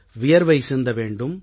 வியர்வை சிந்த வேண்டும்